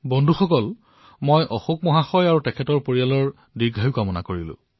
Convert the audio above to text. বন্ধুসকল আমি অশোক মহোদয় আৰু তেওঁৰ পৰিয়ালৰ দীৰ্ঘায়ু কামনা কৰিলো